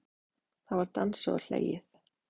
Það var dansað og hlegið.